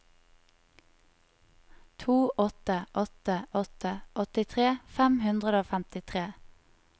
to åtte åtte åtte åttitre fem hundre og femtitre